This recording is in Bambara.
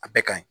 A bɛɛ ka ɲi